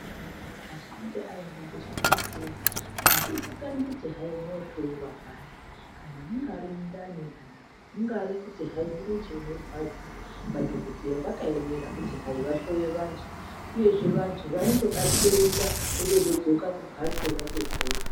Muntu achinge aenda kuchibhedhleya, hazvizikanwi kuti hai unohloyiwa pari, kana mungari mundani kana mungari kuti hai murenje unorwadza madhogodheya vakaemera kuti hai vahloye vantu uyezve vantu vanotobatsirika otozodzoka kumbatso vatopora.